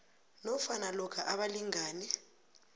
nofana lokha abalingani